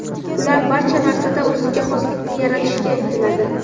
Ular barcha narsada o‘ziga xoslikni yaratishga intiladi.